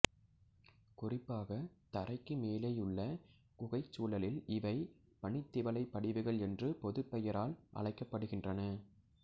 குறிப்பாக தரைக்கு மேலேயுள்ள குகைச் சூழலில் இவை பனித்திவலைப் படிவுகள் என்று பொதுப்பெயரால் அழைக்கப்படுகின்றன